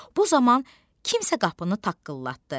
Bu zaman kimsə qapını taqqıldatdı.